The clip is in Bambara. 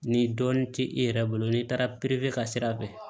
Ni dɔɔnin tɛ i yɛrɛ bolo n'i taara pere ka sira fɛ